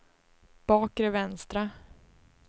bakre vänstra